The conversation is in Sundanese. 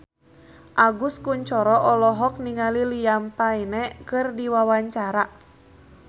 Agus Kuncoro olohok ningali Liam Payne keur diwawancara